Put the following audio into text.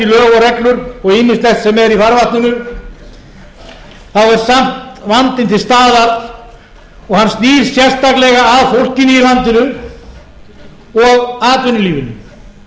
reglur og ýmislegt sem er í farvatninu þá er samt vandinn til staðar og hann snýr sérstaklega að fólkinu í landinu og atvinnulífinu